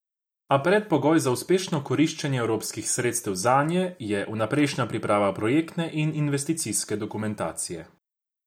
A predpogoj za uspešno koriščenje evropskih sredstev zanje je vnaprejšnja priprava projektne in investicijske dokumentacije.